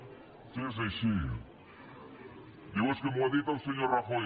si és així diu és que m’ho ha dit el senyor rajoy